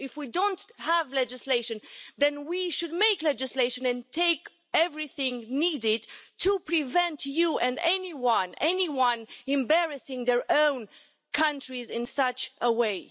If we don't have legislation then we should make legislation, and take every measure needed to prevent you and anyone embarrassing their own country in this way.